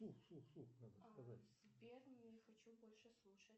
сбер не хочу больше слушать